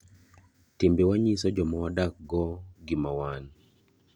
Timbe wa nyiso joma wadak go gima wan.